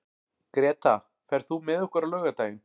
Greta, ferð þú með okkur á laugardaginn?